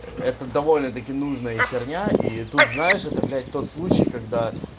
это довольно-таки нужная херня и тут знаешь это блять тот случай когда